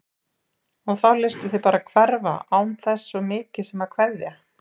Og þá léstu þig bara hverfa án þess svo mikið sem að kveðja!